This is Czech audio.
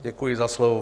Děkuji za slovo.